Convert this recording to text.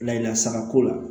Lasakako la